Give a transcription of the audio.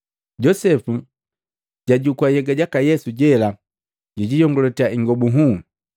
Josepu jwajukua nhyega jaka Yesu jela, jwiiyongalatia ingobu nhuu.